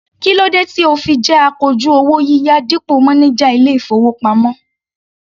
Kí ló dé tí o fi jẹ́ akojú owó yíyá dípò mánájà ilé-ìfowópamọ́?